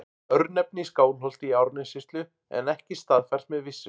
Örnefni í Skálholti í Árnessýslu en ekki staðfært með vissu.